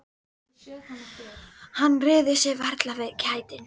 Hann réði sér varla fyrir kæti.